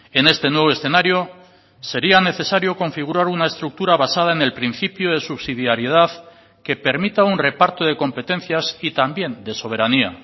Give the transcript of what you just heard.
en este nuevo escenario sería necesario configurar una estructura basada en el principio de subsidiariedad que permita un reparto de competencias y también de soberanía